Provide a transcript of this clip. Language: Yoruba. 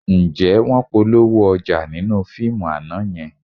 Ǹjẹ́ wọ́n polówó ọjà nínú fíìmù àná yẹn?